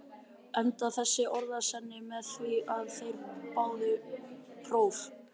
Endaði þessi orðasenna með því, að þeir báðu próf.